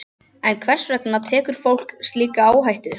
En hvers vegna tekur fólk slíka áhættu?